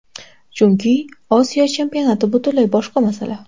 Chunki Osiyo Chempionati butunlay boshqa masala.